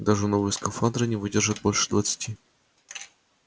даже новые скафандры не выдержат больше двадцати